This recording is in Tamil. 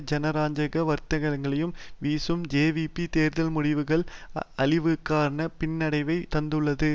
ஜனரஞ்சக வார்த்தைகளையும் வீசும் ஜேவிபி தேர்தல் முடிவுகள் அழிவுகரமான பின்னடைவைத் தந்துள்ளது